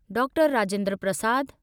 doctor Rajendra Prasad